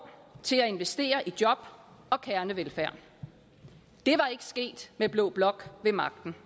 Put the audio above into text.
til at investere i job og kernevelfærd det var ikke sket med blå blok ved magten